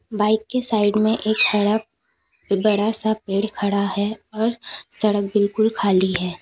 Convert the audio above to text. Bike के side में एक बड़ा बड़ा सा पेड़ खड़ा है और सड़क बिल्कुल खाली है।